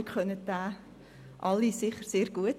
Sie kennen ihn sicher alle sehr gut.